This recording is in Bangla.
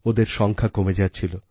ওদের সংখ্যা কমে যাচ্ছিল